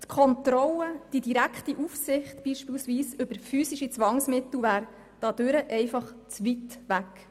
Die Kontrolle, die direkte Aufsicht über physische Zwangsmittel beispielsweise, wäre dadurch einfach zu weit weg.